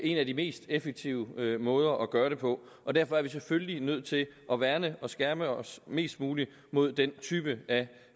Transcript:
en af de mest effektive måder at gøre det på og derfor er vi selvfølgelig nødt til at værne og skærme os mest muligt mod den type af